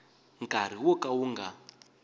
nkarhi wo ka wu nga